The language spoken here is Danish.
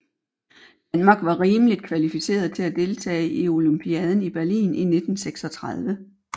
Danmark var rimeligt kvalificeret til at deltage i olympiaden i Berlin i 1936